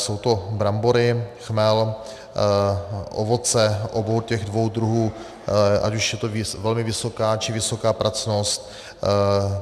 Jsou to brambory, chmel, ovoce obou těch dvou druhů, ať už je to velmi vysoká, či vysoká pracnost.